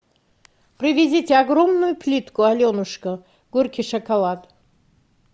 привезите огромную плитку аленушка горький шоколад